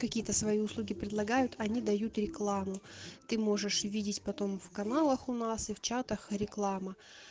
какие-то свои услуги предлагают они дают рекламу ты можешь увидеть потом в каналах у нас и в чатах реклама